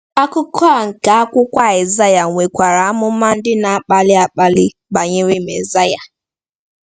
Akụkụ a nke akwụkwọ Aịzaya nwekwara amụma ndị na-akpali akpali banyere Mezaịa.